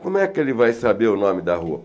Como é que ele vai saber o nome da rua?